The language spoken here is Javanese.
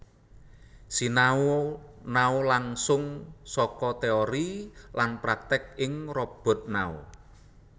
Sinau nao langsung saka teori lan praktek ing robot nao